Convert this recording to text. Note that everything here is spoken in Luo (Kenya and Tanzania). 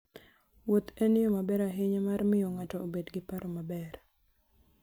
Wuoth en yo maber ahinya mar miyo ng'ato obed gi paro maber.